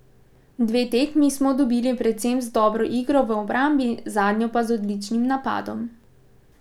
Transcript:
Dve tekmi smo dobili predvsem z dobro igro v obrambi, zadnjo pa z odličnim napadom.